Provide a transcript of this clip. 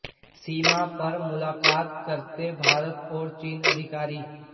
सीमा पर मुलाकात करते भारत और चीन के अधिकारी